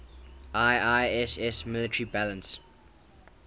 iiss military balance